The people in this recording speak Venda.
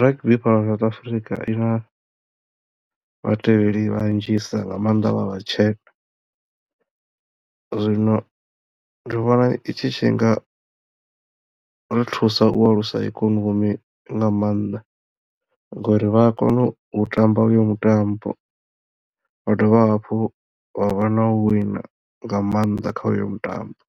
rugby fhano South Africa ina vhatevheli vha nnzhisa nga mannḓa vha vha vhatshena zwino ndi vhona tshi tshi nga vha thusa u alusa ikonomi nga mannḓa ngori vha a kono u tamba uyo mutambo vha dovha hafhu vha vha na u wina nga mannḓa kha uyo mutambo.